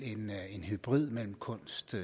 kunst